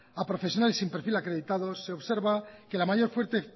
a profesionales sin perfil acreditado se observa que